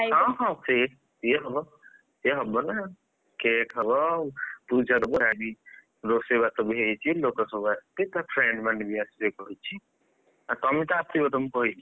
ହଁ ହଁ ca‍ke ସିଏ ହବ ସିଏ ହବ ନାଁ! cake ହବ ପୂଜାପରେ ଆଜି ରୋଷେଇବାସ ହେଇଛି, ଲୋକ ସବୁ ଆସିବେ ଆଉ ତା friends ମାନେ ସବୁ ଆସିବେ କହିଛି ଆଉ ତମେ ତ ଆସିବ ତମକୁ କହିଛି।